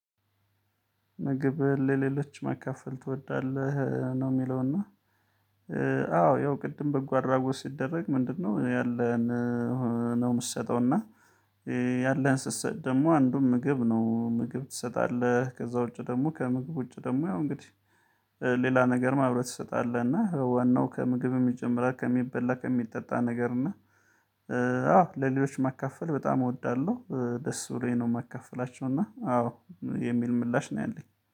ምግብ ለሌሎች መካፈል ትወዳለህ ነው የሚለውና? አዎ ያው ቅድም በጎ አድራጎት ሲደረግ ምንድነው ያለን? ነው የምትሰጠው እና ያለን ስትሰጥ ደግሞ አንዱን ምግብ ነው ምግብ ትሰጣለህ። ከዛ ውጪ ደግሞ ከምግብ ውጪ ደግሞ ያው እንግዲህ ሌላ ነገር አብረህ ትሰጣለህ። እና ዋናው ከምግብ የሚጀምረው ከሚበላ ከሚጠጣ ነገር እና አዎ ለሌሎች መካፈል በጣም እወዳለሁ። ደስ ብሎኝ ነው የማካፍላቸው እና አዎ የሚል ምላሽ ነው ያለኝ